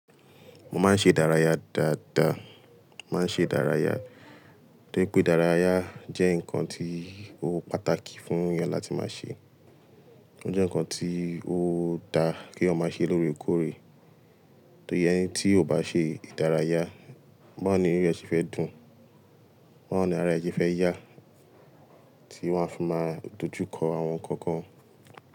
Mo máa ń ṣe ìdárayá dáadáa, màá ń ṣe ìdárayá torí pé ìdárayá jẹ́ nǹkan tí ó pàtàkì fún ènìyàn láti máa ṣe. Ó jẹ́ ǹkan tí ó dáa kí eyan ma ṣe lóore kóòré. Torí ẹni tí kò bá ṣe ìdárayá, báwo ni inú ẹ ṣe fẹ́ dùn? Báwo ni ara ẹ ṣe fẹ́ yá tí wọ́n á fi máa dojú kọ àwọn ǹkan kan.